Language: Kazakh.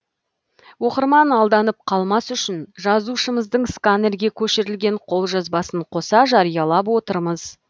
оқырман алданып қалмас үшін жазушымыздың сканерге көшірілген қолжазбасын қоса жариялап отырмыз